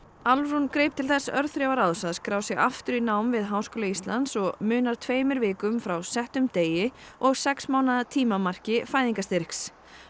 Álfrún greip til þess örþrifaráðs að skrá sig aftur í nám við Háskóla Íslands og munar tveimur vikum frá settum degi og sex mánaða tímamarki fæðingarstyrks